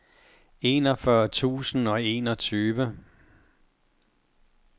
enogfyrre tusind og enogtyve